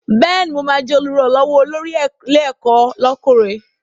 Bẹ́ẹ̀ni, mo ma jẹ́ Olùrànlọ́wọ́ olórí ilé ẹ̀kọ́ lọ́kùnrin